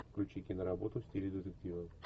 включи киноработу в стиле детектива